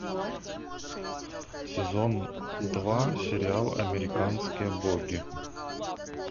сезон два сериал американские боги